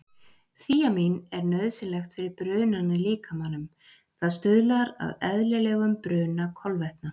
Þíamín er nauðsynlegt fyrir brunann í líkamanum, það stuðlar að eðlilegum bruna kolvetna.